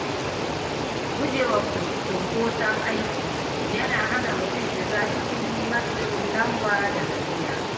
Gujewa cunkoson aiki yana hana mutum shiga cikin matsin lamba da gajiya.